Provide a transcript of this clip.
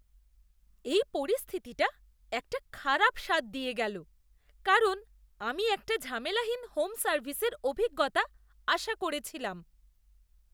এই পরিস্থিতিটা একটা খারাপ স্বাদ দিয়ে গেলো, কারণ আমি একটা ঝামেলাহীন হোম সার্ভিসের অভিজ্ঞতা আশা করেছিলাম।